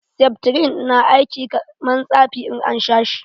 Seftrin na aiki kaman tsafi in na sha shi.